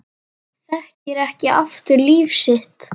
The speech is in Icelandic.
Þekkir ekki aftur líf sitt